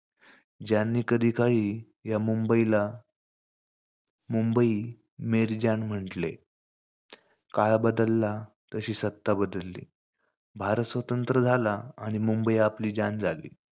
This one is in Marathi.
ज्यांनी कधीकाळी या मुंबईला मुंबई म्हंटले. काळ बदलला तशी सत्ता बदलली. भारत स्वतंत्र झाला आणि मुंबई आपली झाली.